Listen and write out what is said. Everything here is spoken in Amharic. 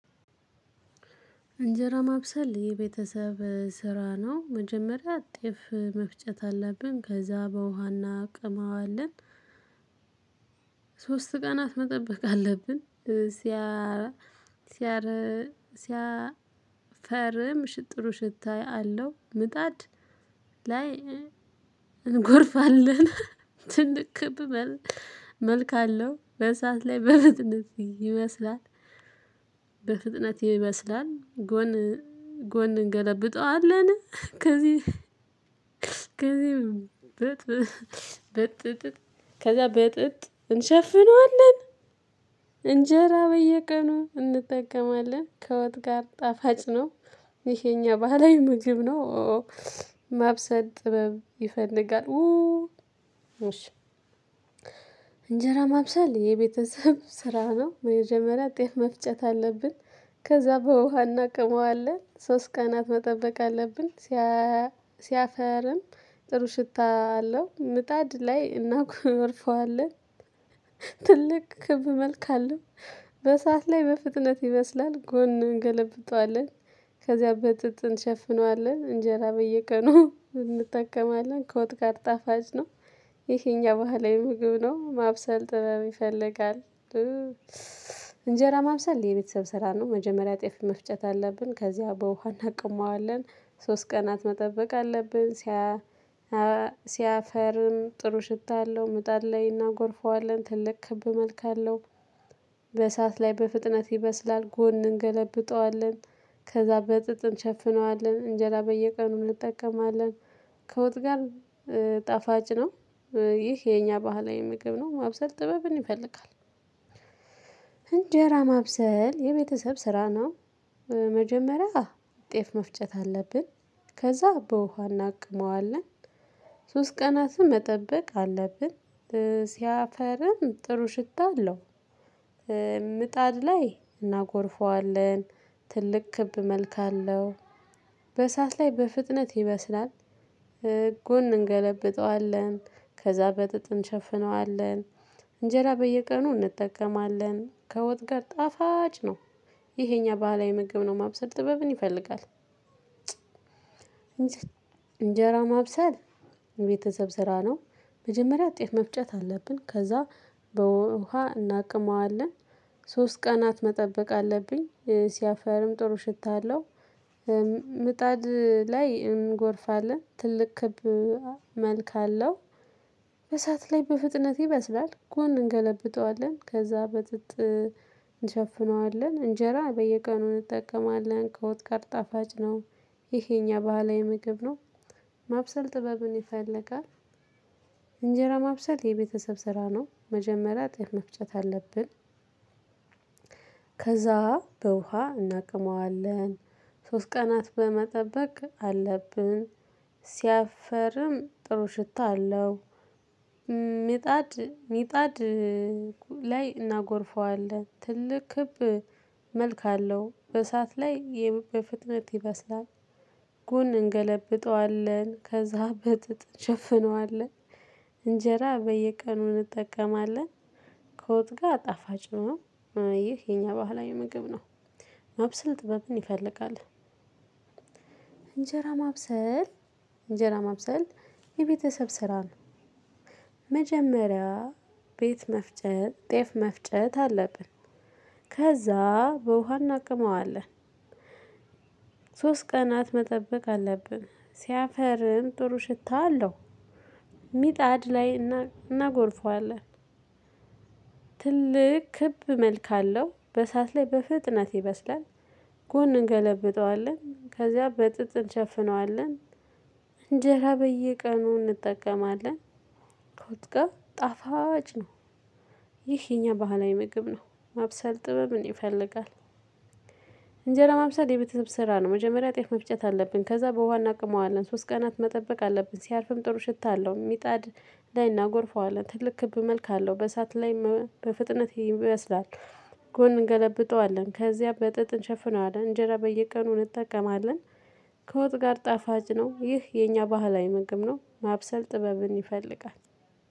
እንጀራ ማብሰል የቤተሰብ ስራ ነው መጀመሪያ ጤፍ መፍጨት አለብን ከዛ በውሃ እናቅመዋለን። ሶስት ቀናት መጠበቅ አለብን። ሲያ ሲያረ ሲያፈርም ጥሩ ሽታ አለው። ምጣድ ላይ እንጎርፋለን። ትልቅ ክብ መልክ አለው በእሳት ላይ በፍጥነት ይበስላል። በፍጥነት ይበስላል ጎን ጎን እንገለብጠዋለን። ከዚህ ከዚህ በጥጥ በጥጥ ከዛ በጥጥ እንሸፍነዋለን። እንጀራ በየቀኑ እንጠቀማለን ከወጥ ጋር ጣፋጭ ነው። ይሄ የኛ ባህላዊ ምግብ ነው። ማብሰል ጥበብ ይፈልጋል። እንጀራ ማብሰል የቤተሰብ ስራ ነው በመጀመሪያ ጤፍ መፍጨት አለብን። ከዛ በውሃና እናቅመዋለን ሶስት ቀናት መጠበቅ አለብን። ሲያፈርም ጥሩ ሽታ አለው ምጣድ ላይ እናኮርፈዋለን። ትልቅ ክብ መልክ አለው። በእሳት ላይ በፍጥነት ይበስላል ጎን እንገለብጠዋለን። ከዚያ በጥጥ እንሸፍነዋለን እንጀራ በየቀኑ እንጠቀማለን ከወጥ ጋር ጣፋጭ ነው። ይህ የኛ ባህላዊ ምግብ ነው ማብሰል ጥበብ ይፈልጋል። እንጀራ ማብሰል የቤተሰብ ስራ ነው። መጀመሪያ ጤፍ መፍጨት አለብን ከዚያ በውሃ እናቅመዋለን። ሶስት ቀናት መጠበቅ አለብን። ሲያፈርም ጥሩ ሽታ አለው ምጣድ ላይ እናጎርፈዋለን ትልቅ ክብ መልክ አለው። በእሳት ላይ በፍጥነት ይበስላል ጎን እንገለብጠዋለን። ከዛ በጥጥ እንሸፍነዋለን እንጀራ በየቀኑ እንጠቀማለን። ከወጥ ጋር ጣፋጭ ነው። ይህ የኛ ባህላዊ ምግብ ነው ማብሰል ጥበብን ይፈልጋል። እንጀራ ማብሰል የቤተሰብ ስራ ነው። መጀመሪያ ጤፍ መፍጨት አለብን። ከዛ በውሃ እናቅመዋለን። ሶስት ቀናትም መጠበቅ አለብን። ሲያፈርም ጥሩ ሽታ አለው። ምጣድ ላይ እናጎርፈዋለን። ትልቅ ክብ መልክ አለው። በእሳት ላይ በፍጥነት ይበስላል። ጎን እንገለብጠዋለን ከዛ በጥጥ እንሸፍነዋለን። እንጀራ በየቀኑ እንጠቀማለን ከወጥ ጋር ጣፋጭ ነው። ይሄ የኛ ባህላዊ ምግብ ነው ማብሰል ጥበብን ይፈልጋል። እንጀራ ማብሰል ቤተሰብ ስራ ነው። መጀመሪያ ጤፍ መፍጨት አለብን ከዛ በውሃ እናቅመዋለን። ሶስት ቀናት መጠበቅ አለብኝ። ሲያፈርም ጥሩ ሽታ አለው። ምጣድ ላይ እንጎርፋለን ትልቅ ክብ መልክ አለው። በእሳት ላይ በፍጥነት ይበስላል ጎን እንገለብጠዋለን ከዛ በጥጥ እንሸፍነዋለን እንጀራ በየቀኑ እንጠቀማለን ከወጥ ጋር ጣፋጭ ነው። ይህ የኛ ባህላዊ ምግብ ነው። ማብሰል ጥበብን ይፈልጋል። እንጀራ ማብሰል የቤተሰብ ስራ ነው መጀመሪያ ጤፍ መፍጨት አለብን። ከዛ በውሃ እናቅመዋለን። ሶስት ቀናት በመጠበቅ አለብን። ሲያፈርም ጥሩ ሽታ አለው። ሚጣድ ሚጣድ ላይ እናጎርፈዋለን ትልቅ ክብ መልክ አለው በእሳት ላይ በፍጥነት ይበስላል። ጎን እንገለብጠዋለን ከዛ በጥጥ እንሸፍነዋለን። እንጀራ በየቀኑ እንጠቀማለን። ከወጥ ጋር ጣፋጭ ነው። ይህ የኛ ባህላዊ ምግብ ነው። ማብሰል ጥበብን ይፈልጋል። እንጀራ ማብሰል እንጀራ ማብሰል የቤተሰብ ስራ ነው። መጀመሪያ ቤት መፍጨት ጤፍ መፍጨት አለብን። ከዛ በውሃ እናቅመዋለን። ሶስት ቀናት መጠበቅ አለብን። ሲያፈርም ጥሩ ሽታ አለው። ሚጣድ ላይ እናጎርፈዋለን። ትልቅ ክብ መልክ አለው በእሳት ላይ በፍጥነት ይበስላል። ጎን እንገለብጠዋለን ከዚያ በጥጥ እንሸፍነዋለን። እንጀራ በየቀኑ እንጠቀማለን። ከወጥ ጋር ጣፋጭ ነው። ይህ የኛ ባህላዊ ምግብ ነው። ማብሰልጥ ጥበብን ይፈልጋል። እንጀራ ማብሰል የቤተሰብ ስራ ነው መጀመሪያ ጤፍ መፍጨት አለብን ከዛ በውሃ እናቅመዋለን ሶስት ቀናት መጠበቅ አለብን። ሲያርፍም ጥሩ ሽታ አለው። ሚጣድ ላይ እናጎርፈዋለን። ትልቅ ክብ መልክ አለው በእሳት ላይ በፍጥነት ይበስላል። ጎን እንገለብጠዋለን ከዚያ በጥጥ እንሸፍነዋለን እንጀራ በየቀኑ እንጠቀማለን። ከወጥ ጋር ጣፋጭ ነው ይህ የኛ ባህላዊ ምግብ ነው ማብሰል ጥበብን ይፈልጋል።